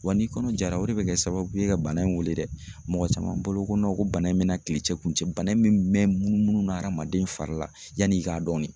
Wa n'i kɔnɔ jara o de bɛ kɛ sababu ye ka bana in wele dɛ, mɔgɔ caman balo ko ko bana in bɛna kile cɛ kun cɛ bana in bɛ munumunu hadamaden fari la yanni i k'a dɔn de.